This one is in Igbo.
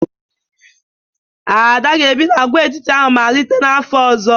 Ada ga-ebi n'agwaetiti ahụ malite n'afọ ọzọ